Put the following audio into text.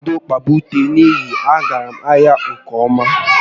A gam ebidozie kpaba ute n'ihi na ọ na aga ahịa nke ọma